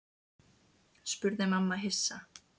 spurði mamma hissa.